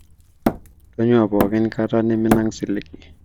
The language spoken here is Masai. tunyua pookin kata niminang silig